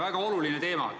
Väga oluline teema!